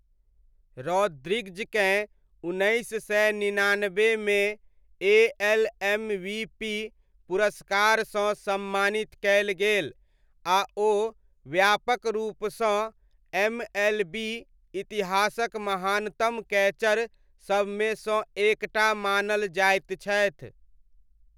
रॉद्रिग्जकेँ उन्नैस सय निनानब्बेमे ए.एल. एम.वी.पी. पुरस्कारसँ सम्मानित कयल गेल आ ओ व्यापक रूपसँ एम.एल.बी. इतिहासक महानतम कैचर सबमे सँ एक टा मानल जाइत छथि।